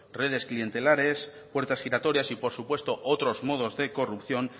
redes clientelares puertas giratorias y por supuesto otros modos de corrupción